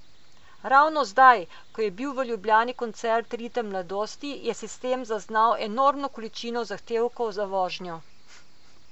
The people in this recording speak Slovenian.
Ravno zdaj, ko je bil v Ljubljani koncert Ritem mladosti, je sistem zaznal enormno količino zahtevkov za vožnjo.